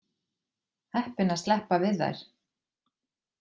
Heppin að sleppa við þær.